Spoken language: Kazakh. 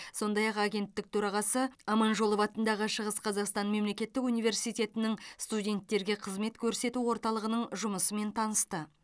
сондай ақ агенттік төрағасы аманжолов атындағы шығыс қазақстан мемлекеттік университетінің студенттерге қызмет көрсету орталығының жұмысымен танысты